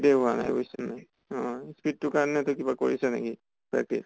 য়ে হোৱা নাই বুজিছ নে নাই। অহ speed তোৰ কাৰণে তই কিবা কৰিছʼ নেকি practice?